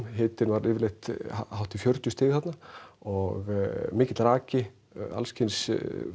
hitinn var yfirleitt hátt í fjörutíu stig þarna og mikill raki alls kyns